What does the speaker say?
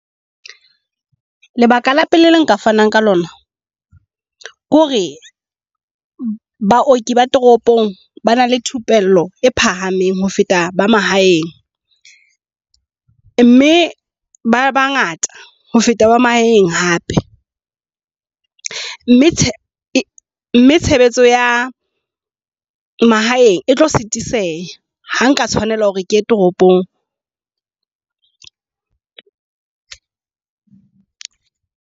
Lebaka la pele le nka fanang ka lona ke hore baoki ba toropong ba na le thupello e phahameng ho feta ba mahaeng. Mme ba ba ngata ho feta ba mahaeng hape. Mme tshebetso ya mahaeng e tlo setiseha. Ha nka tshwanela hore ke ye toropong.